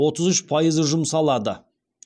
отыз үш пайызы жұмсалады